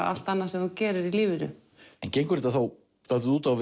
allt annað sem þú gerir í lífinu en gengur þetta þá dálítið út á